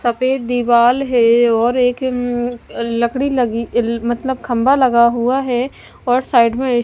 सफेद दीवाल है और एक उम् लकड़ी लगी ल मतलब खंभा लगा हुआ है और साइड में--